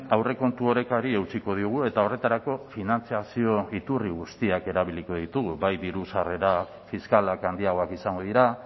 aurrekontu orekari eutsiko diogu eta horretarako finantzazio iturri guztiak erabiliko ditugu bai diru sarrera fiskalak handiagoak izango dira